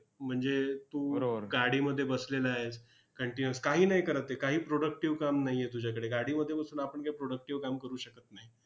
म्हणजे तू गाडीमध्ये बसलेला आहेस continuous काही नाही करत आहे, काही productive काम नाही आहे तुझ्याकडे. गाडीमध्ये बसून आपण काही productive काम करू शकत नाही.